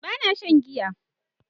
Ba na shan giya